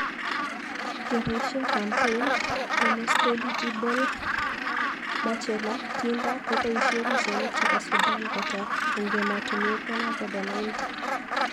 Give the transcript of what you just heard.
Kepoishei Kampeim #ThemosteligibleBachelor, Tinder kopoishei pichainik chepo Sudan kotok eng emotinwek 190